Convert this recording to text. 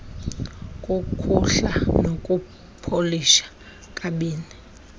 kukhuhla nokupolisha kabini